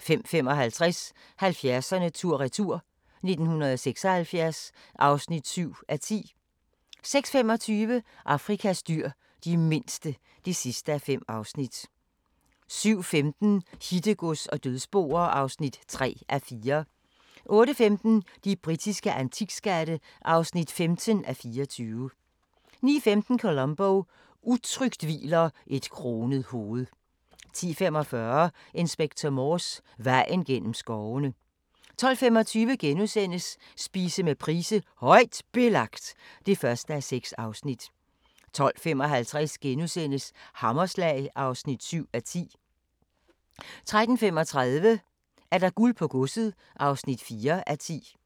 05:55: 70'erne tur-retur: 1976 (7:10) 06:25: Afrikas dyr – de mindste (5:5) 07:15: Hittegods og dødsboer (3:4) 08:15: De britiske antikskatte (15:24) 09:15: Columbo: Utrygt hviler et kronet hoved 10:45: Inspector Morse: Vejen gennem skovene 12:25: Spise med Price: "Højt Belagt" (1:6)* 12:55: Hammerslag (7:10)* 13:35: Guld på godset (4:10)